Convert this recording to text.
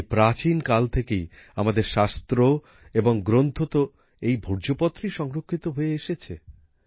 সেই প্রাচীনকাল থেকেই আমাদের শাস্ত্র এবং গ্রন্থ তো এই ভূর্জপত্রেই সংরক্ষিত হয়ে এসেছে